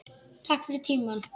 Takk fyrir tímann.